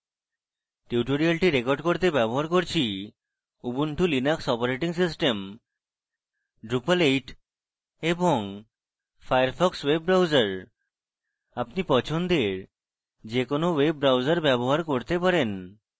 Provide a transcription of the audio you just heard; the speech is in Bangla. tutorial record করতে ব্যবহার করছি Ubuntu Linux operating system drupal 8 এবং ফায়ারফক্স ওয়েব ব্রাউজার আপনি পছন্দের যে কোনো ওয়েব ব্রাউজার ব্যবহার করতে পারেন